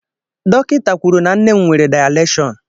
Dọkịta kwuru na nne m nwere dayaleshọn.